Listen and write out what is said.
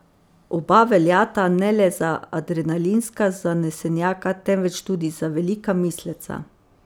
Oba veljata ne le za adrenalinska zanesenjaka, temveč tudi za velika misleca.